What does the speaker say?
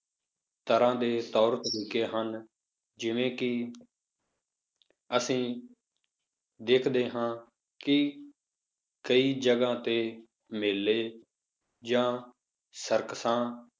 ਤਰ੍ਹਾਂ ਦੇ ਤੌਰ ਤਰੀਕੇ ਹਨ, ਜਿਵੇਂ ਕਿ ਅਸੀਂ ਦੇਖਦੇ ਹਾਂ ਕਿ ਕਈ ਜਗ੍ਹਾ ਤੇ ਮੇਲੇ ਜਾਂ ਸਰਕਸਾਂ